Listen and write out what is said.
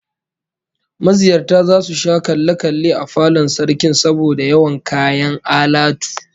Maziyarta zasu sha kalle kalle a falon Sarkin saboda yawan kayan alatu